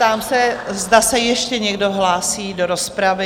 Ptám se, zda se ještě někdo hlásí do rozpravy?